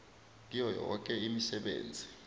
kiyo yoke imisebenzi